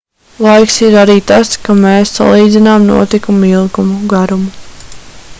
laiks ir arī tas kā mēs salīdzinām notikumu ilgumu garumu